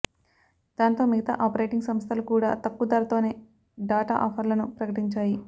దాంతో మిగతా ఆపరేటింగ్ సంస్థలు కూడా తక్కువ ధరలతోనే డాటా ఆఫర్లను ప్రకటించాయి